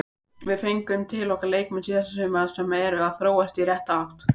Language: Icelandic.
Við fengum til okkar leikmenn síðasta sumar sem eru að þróast í rétta átt.